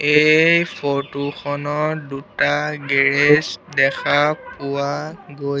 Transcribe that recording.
এই ফটো খনৰ দুটা গেৰেজ দেখা পোৱা গৈছ--